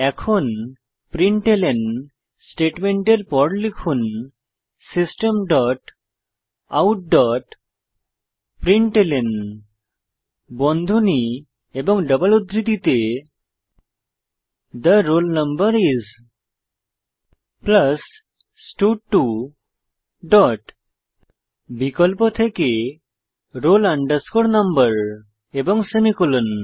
এখন প্রিন্টলন স্টেটমেন্টের পর লিখুন system dot out dot println বন্ধনী এবং ডবল উদ্ধৃতিতে the roll number is stud two dot বিকল্প থেকে roll no এবং সেমিকোলন